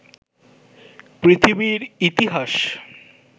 পৃথিবীর ইতিহাস